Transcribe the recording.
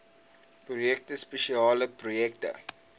projekte spesiale projekte